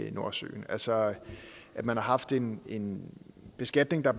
i nordsøen altså at man har haft en en beskatning der